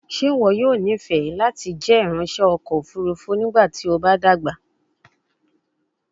Ṣe iwọ yoo nifẹ lati jẹ iranṣẹ ọkọ ofurufu nigbati o ba dagba?